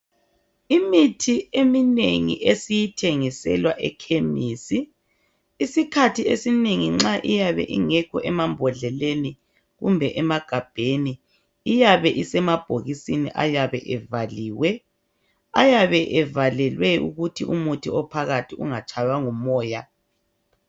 Imithi eminengi esiyithengiswela ekhemisi isikhathi esinengi nxa iyabe ingekho emabhodleleni kumbe emagabheni iyabe isemabhokisini eyabe evaliwe. Ayabe evalelwe ukuthi umuthi ophakathi ungatshaywa ngumoya.